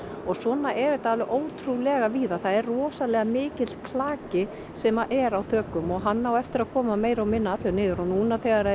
og svona er þetta alveg ótrúlega víða það er rosalega mikill klaki sem er á þökum og hann á eftir að koma meira og minna allur niður og núna þegar